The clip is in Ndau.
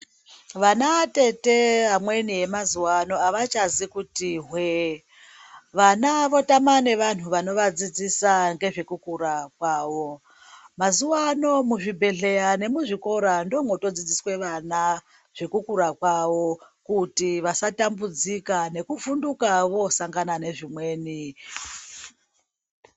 Vana atete vamweni emazuvano havachazi kiti hwe-e. Vana votama nevanhu vanovadzidzise ngezvekukura kwavo. Mazuvano muzvibhehleya nemuzvikora ndoomotodzidziswe vana, zvekukura kwavo kuti vasatambudzika nekuvhunduka voosangana nezvimweni.